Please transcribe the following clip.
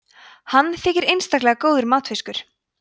hann þykir einstaklega góður matfiskur